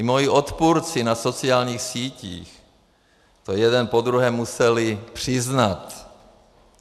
I moji odpůrci na sociálních sítích to jeden po druhém museli přiznat.